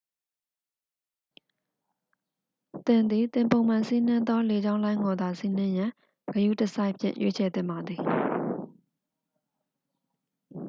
သင်သည် သင်ပုံမှန်စီးနင်းသောလေကြောင်းလိုင်းကိုသာ စီးနှင်ရန် ဂရုတစိုက်ဖြင့် ရွေးချယ်သင့်ပါသည်